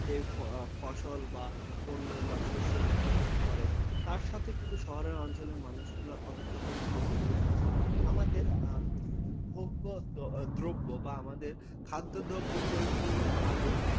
যে ফসল বা শস্য বা পণ্য উৎপাদন করে, তার সাথে কিন্তু শহরাঞ্চলের মানুষেরা ওতপ্রোত ভাবে জড়িয়ে আছে। আমাদের ভোগ্যদ্রব্য বা আমাদের খাদ্যদ্রব্য পরিপূর্ণ ভাবে